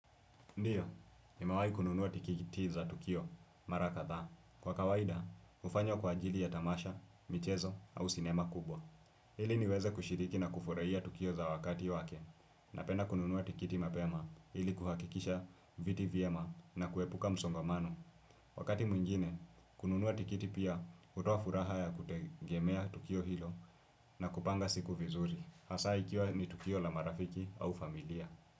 Ndiyo, nimewahi kununua tikiti za Tukio, mara kadhaa. Kwa kawaida, hufanya kwa ajili ya tamasha, michezo, au cinema kubwa. Ili niweze kushiriki na kufurahia Tukio za wakati wake. Napenda kununua tikiti mapema ili kuhakikisha viti vyema na kuepuka msongamano. Wakati mwingine, kununua tikiti pia hutoa furaha ya kutegemea Tukio hilo na kupanga siku vizuri. Hasa ikiwa ni Tukio la marafiki au familia.